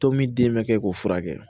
Tomi den bɛ kɛ k'o furakɛ